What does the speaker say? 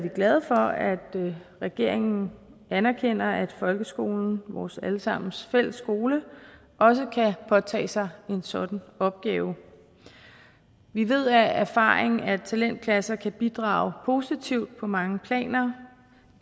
glade for at regeringen anerkender at folkeskolen vores alle sammens fælles skole også kan påtage sig en sådan opgave vi ved af erfaring at talentklasser kan bidrage positivt på mange planer